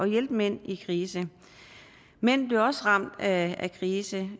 hjælpe mænd i krise mænd bliver også ramt af krise